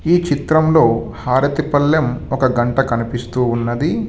ఈ చిత్రంలో హారతి పళ్లెం ఒక గంట కనిపిస్తూ ఉన్నది.